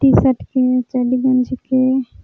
T shirt के चढ्ढी गंजी के--